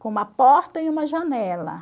Com uma porta e uma janela.